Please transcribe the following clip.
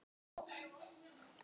Tóti var mér kær.